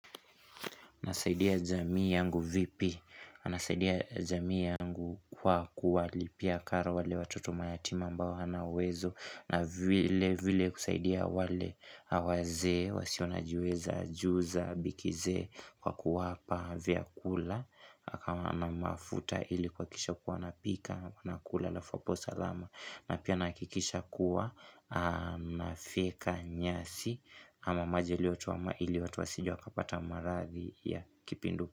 Nasaidia jamii yangu vipi, anasaidia jamii yangu kwa kuwa lipia karo wale watoto mayatima ambao hana uwezo na vile vile kusaidia wale awazee, wasiona jiweza, ajuza, bikizee kwa kuwapa vya kula kama anamafuta ili kuakisha kuwa anapika, anakula alafu apo salama na pia naakikisha kuwa nafyeka nyasi ama maji yaliotoma ili watu wasije wakapata marathi ya kipindu.